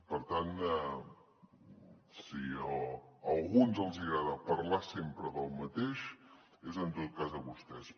per tant si a alguns els agrada parlar sempre del mateix és en tot cas a vostès